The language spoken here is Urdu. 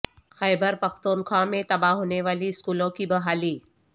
خیبر پختونخوا میں تباہ ہونے والی سکولوں کی بحالی